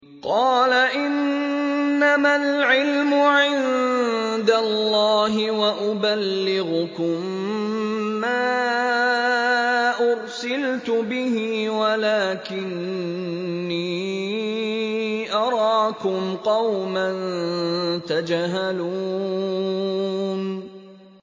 قَالَ إِنَّمَا الْعِلْمُ عِندَ اللَّهِ وَأُبَلِّغُكُم مَّا أُرْسِلْتُ بِهِ وَلَٰكِنِّي أَرَاكُمْ قَوْمًا تَجْهَلُونَ